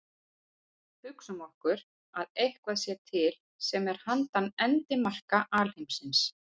Hugsum okkur að eitthvað sé til sem er handan endimarka alheimsins.